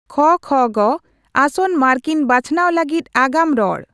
ᱠᱷ ᱹ ᱠᱷ ᱹ ᱜᱚ ᱹ ᱟᱥᱚᱱᱚ ᱢᱟᱨᱠᱤᱱ ᱵᱟᱪᱷᱚᱱᱟᱣ ᱞᱟᱹᱜᱤᱫ ᱟᱜᱟᱢ ᱨᱚᱲ